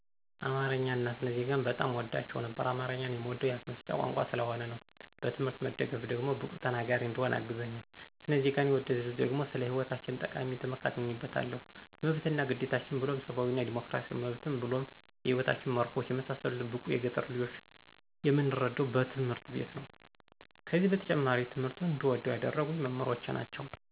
አማረኛን አና ስነ ዜጋን በጣም አወዳቸው ነበር። አማረኛን የምወደዉ የአፋ መፍቻ ቋንቋየ ስለሆነ ነዉ። በትምሕርት መደገፍ ደግሞ ብቁ ተናገሪ እንድሆን አግዞኛል። ሰነ ዜገን የወደድኩት ደግሞ ስለ ሐይወታችን ጠቃሚ ትምሕርት አግኝየበታለሁ መብት አና ግዴታችን ብሉም ሰባዊ እና ዲሞክራሲያዊ መብቴን ብሉም የሕይወታችን መረሆች የመሳሰሉትን ብዙ የገጠር ልጆች የምንረዳዉ በትምህርት ቤት ነዉ። ከዚ በተጨማሪ ትምሕርቱን እንድወደዉ ያደረጉኝ መምሕሮቸ ናቸዉ።